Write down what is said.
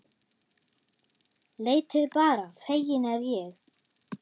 Leitið bara, feginn er ég.